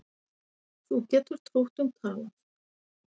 Þú getur trútt um talað